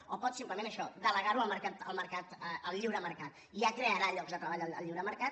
o pot simplement això delegar ho al mercat al lliure mercat ja crearà llocs de treball el lliure mercat